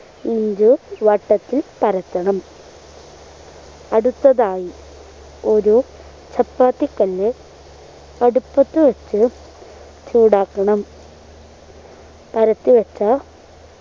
inch വട്ടത്തിൽ പരത്തണം അടുത്തതായി ഒരു ചപ്പാത്തിക്കല്ല് അടുപ്പത്തു വച്ച് ചൂടാക്കണം പരത്തി വച്ച